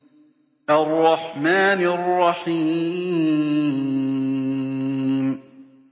الرَّحْمَٰنِ الرَّحِيمِ